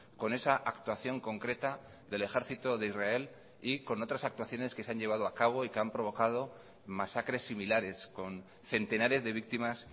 con esa actuación concreta del ejercito de israel y con otras actuaciones que se han llevado a cabo y que han provocado masacres similares con centenares de víctimas